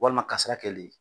Walima kasara kɛlen,